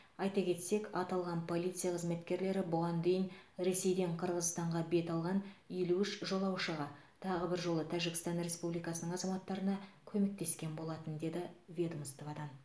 айта кетсек аталған полиция қызметкерлері бұған дейін ресейден қырғызстанға бет алған елу үш жолаушыға тағы бір жолы тәжікстан республикасының азаматтарына көмектескен болатын деді ведомстводан